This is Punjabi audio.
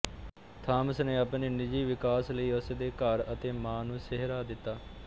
ਥਾਮਸ ਨੇ ਆਪਣੇ ਨਿੱਜੀ ਵਿਕਾਸ ਲਈ ਉਸ ਦੇ ਘਰ ਅਤੇ ਮਾਂ ਨੂੰ ਸਿਹਰਾ ਦਿੱਤਾ